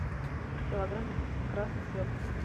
килограмм красной свеклы